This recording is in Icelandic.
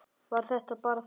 Var það bara þetta?